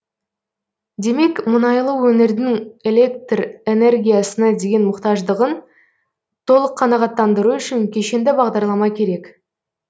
демек мұнайлы өңірдің электр энергиясына деген мұқтаждығын толық қанағаттандыру үшін кешенді бағдарлама керек